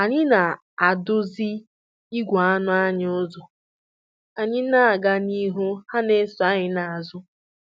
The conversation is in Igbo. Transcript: Anyị na-eduzi igwe anụ anyị ụzọ, anyị na-aga n'ihu ha ana-eso anyị n'azụ